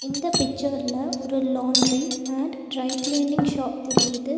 இந்த பிச்சர் ல ஒரு laundry and dry cleaning shop தெரியுது.